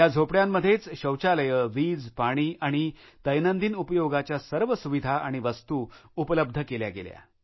या झोपड्यांमध्येच शौचालये वीजपाणी आणि दैनंदिन उपयोगाच्या सर्व सुविधा आणि वस्तू उपलब्ध केल्या गेल्या